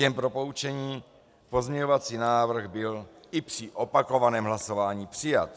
Jen pro poučení, pozměňovací návrh byl i při opakovaném hlasování přijat.